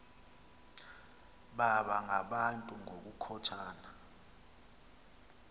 baba ngabantu ngokukhothana